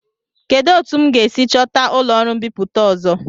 Kedụ etu m ga-esi chọta ụlọọrụ mbipụta ọzọ?